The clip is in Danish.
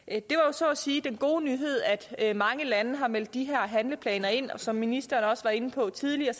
så at sige den gode nyhed at at mange lande har meldt de her handleplaner ind og som ministeren også var inde på tidligere